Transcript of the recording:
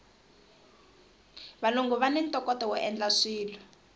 valungu vani ntokoto woendla swilo